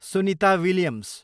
Sunita Williams